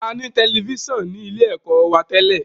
A ní Tẹlifísàn ní ilé ẹ̀kọ́ wa tẹ́lẹ̀